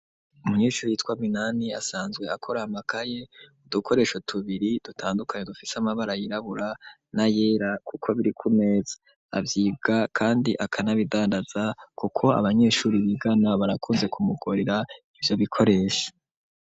Umunyeshuri yitwa Minani asanzwe akora amakaye, udukoresho tubiri dutandukanye dufitse amabara yirabura n'ayera kuko biri ku meza. Avyibwa kandi akanabidandaza kuko abanyeshure bigana barakunze kumushorera ivyo bikoresho.